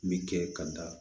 Me kɛ ka da